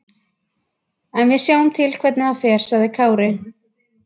En við sjáum til hvernig það fer, sagði Kári.